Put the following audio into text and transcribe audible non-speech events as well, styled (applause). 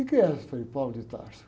O que é, frei? (unintelligible)